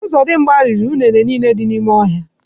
Ozodimgba riri unere niile dị n’ime ọhịa